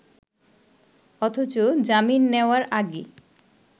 অথচ জামিন নেওয়ার আগে